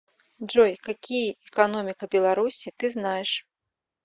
джой какие экономика беларуси ты знаешь